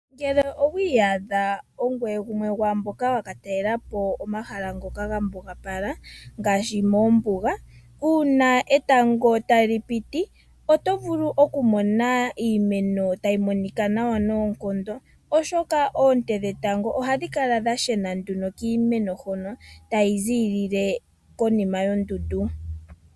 Ngele owi iyadha ongoye gumwe gwomwaamboka yakatalela po omahala ngoka gambugapala ngaashi moombuga, uuna etango tali piti oto vulu okumona iimeno tayi monika nawa noonkondo oshoka oonte dhetango ohadhi kala dha shena nduno kiimeno huno, tayi ziilile konima yondundu.